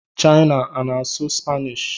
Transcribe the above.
China ọ na-asụ Spanish?